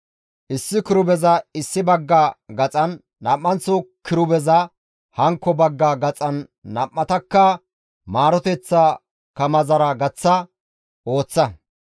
Issi kirubeza issi bagga gaxan, nam7anththo kirubeza hankko bagga gaxan nam7atakka maaroteththaa kamazara gaththa ooththa.